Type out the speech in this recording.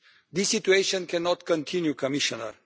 This situation cannot continue, Commissioner.